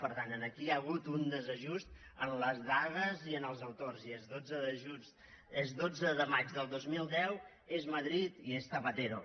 per tant aquí hi ha hagut un desajust en les dades i en els autors i és dotze de maig del dos mil deu és madrid i és zapatero